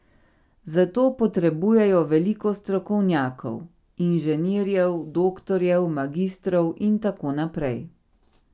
Zato potrebujejo veliko strokovnjakov, inženirjev, doktorjev, magistrov in tako naprej.